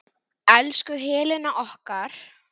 Elsku Helena okkar.